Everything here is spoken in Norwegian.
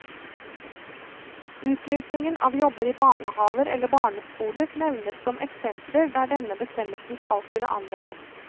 Utlysning av jobber i barnehaver eller barneskoler nevnes som eksempler der denne bestemmelsen skal kunne anvendes.